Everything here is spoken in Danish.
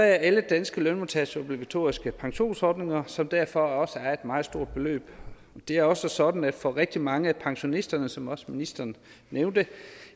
alle danske lønmodtageres obligatoriske pensionsordninger som derfor også er et meget stort beløb det er også sådan at for rigtig mange af pensionisterne som også ministeren nævnte